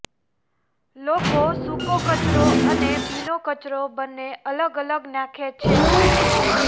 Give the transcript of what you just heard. લોકો સુકો કચરો અને ભીનો કચરો બંને અલગ અલગ નાખે છે